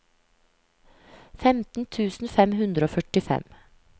femten tusen fem hundre og førtifem